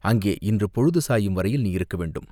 அங்கே இன்று பொழுது சாயும் வரையில் நீர் இருக்க வேண்டும்.